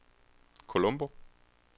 Colombo